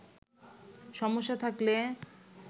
সমস্যা থাকলে